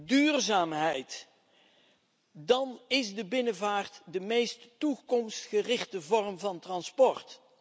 en duurzaamheid, dan is de binnenvaart de meest toekomstgerichte vorm van transport.